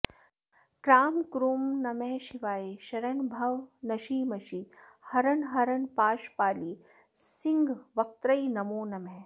क्रां क्रूं नमः शिवाय शरणभव नशि मशि हरण हरण पाशपालि सिंहवक्त्र्यै नमो नमः